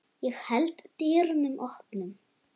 Ég held dyrunum opnum.